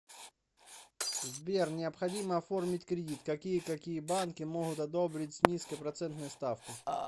сбер необходимо оформить кредит какие какие банки могут одобрить с низкой процентной ставкой